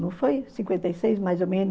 Não foi cinquenta e seis, mais ou menos?